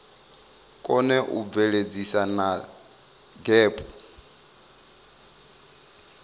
kone u bveledzisa na gdp